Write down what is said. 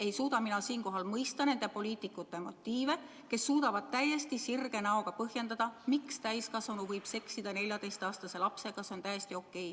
Ei suuda mina siinkohal mõista nende poliitikute motiive, kes suudavad täiesti sirge näoga põhjendada, miks täiskasvanu võib seksida 14-aastase lapsega ja et see on täiesti okei.